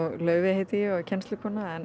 Laufey heiti ég og er kennslukona